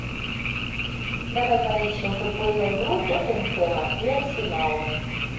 давай поищем футбольную игру тоттенхэма и арсенала